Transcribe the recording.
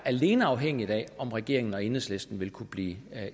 alene er afhængigt af om regeringen og enhedslisten vil kunne blive